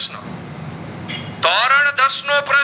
પ્રશ્નો પર